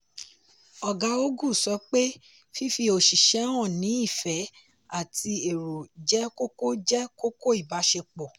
ọ̀gá ogu sọ pé fífi oṣìṣẹ́ hàn ní ìfẹ́ àti èrò jẹ́ kókó jẹ́ kókó ìbáṣepọ̀.